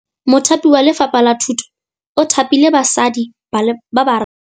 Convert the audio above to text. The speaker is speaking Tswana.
Mothapi wa Lefapha la Thutô o thapile basadi ba ba raro.